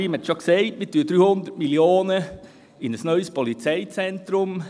Wir investieren rund 300 Mio. Franken in ein neues Polizeizentrum.